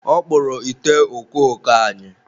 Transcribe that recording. ọ kpụrụ ite okooko anyị.